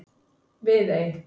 Viðey